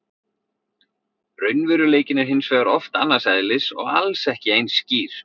Raunveruleikinn er hins vegar oft annars eðlis og alls ekki eins skýr.